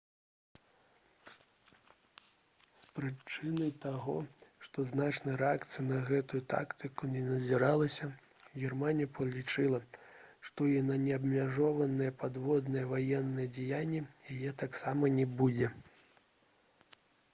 з прычыны таго што значнай рэакцыі на гэтую тактыку не назіралася германія палічыла што і на неабмежаваныя падводныя ваенныя дзеянні яе таксама не будзе